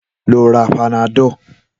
Lọ ra Panadọ̀